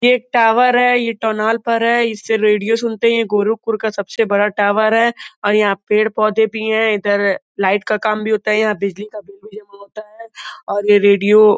ये एक टॉवर है। ये टनॉल पर है। इससे रेडियो सुनते है। ये गोरुखपुर का सबसे बड़ा टॉवर है और यहां पेड़-पौधे भी हैं। इधर लाइट का काम भी होता है। यहां बिजली बिल भी जमा होता है और ये रेडियो --